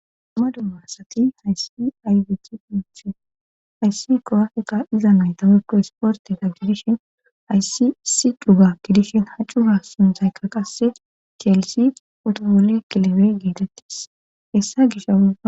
Dumma dumma asati hayssi aybic punthu hayssi kowafeka iza naydawukko hisporte ta gidishin hayssi si dhuga gidishin haccura sunthaykka qasse keelisi otogole kilebe geetettis hessa gisha